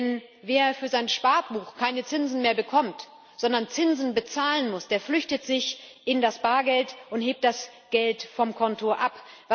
Denn wer für sein Sparbuch keine Zinsen mehr bekommt, sondern Zinsen bezahlen muss, der flüchtet sich in das Bargeld und hebt das Geld vom Konto ab.